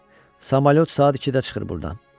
Samalyot saat ikidə çıxır burdan.